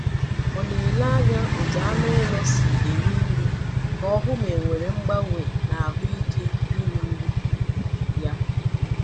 Ọ na-ele anya otú anụ ụlọ si eri nri ka ọ hụ ma e nwere mgbanwe n’ahụ ike iri nri ya.